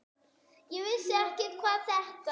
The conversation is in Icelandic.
Ég vissi ekkert hvað þetta